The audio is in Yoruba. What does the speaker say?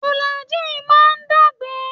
Fìlàgíì má ń dá ìgbẹ́.